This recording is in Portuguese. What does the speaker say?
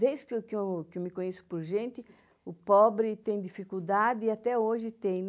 Desde que eu que eu que eu me conheço por gente, o pobre tem dificuldade e até hoje tem.